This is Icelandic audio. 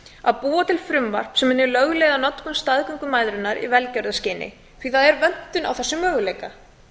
að búa til frumvarp sem löglega notkun staðgöngumæðrunar í velgjörðarskyni því það er vöntun á þessum möguleika